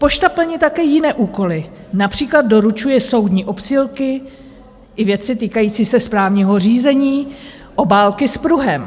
Pošta plní také jiné úkoly, například doručuje soudní obsílky i věci týkající se správního řízení, obálky s pruhem.